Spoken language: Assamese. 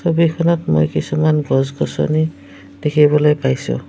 ছবিখনত মই কিছুমান গছ-গছনি দেখিবলৈ পাইছোঁ।